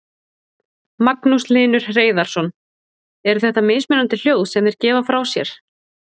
Magnús Hlynur Hreiðarsson: Eru þetta mismunandi hljóð sem þeir gefa frá sér?